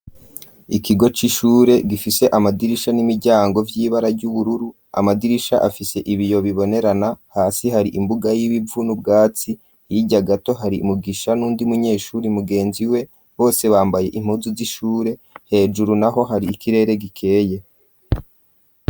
Ikigo c'ishure gifise amadirisha n'imiryango vy'ibara ry'ubururu, amadirisha afise ibiyo bibonerana hasi hari imbuga y'ibivu n'ubwatsi, hirya gato hari Mugisha n'uwundi munyeshure mugenzi we bose bambaye impuzi z'ishure hejuru naho hari ikirere gikeye.